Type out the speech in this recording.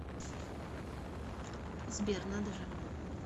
сбер надо же